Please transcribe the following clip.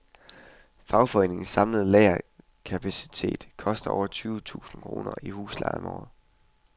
Foreningens samlede lagerkapacitet koster over tyve tusind kroner i husleje om året.